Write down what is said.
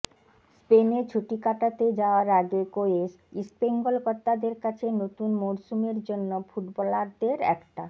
স্পেনে ছুটি কাটাতে যাওয়ার আগে কোয়েস ইস্টবেঙ্গল কর্তাদের কাছে নতুন মরসুমের জন্য ফুটবলারদের একটা